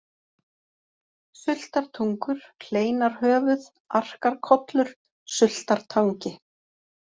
Sultartungur, Hleinarhöfuð, Arkarkollur, Sultartangi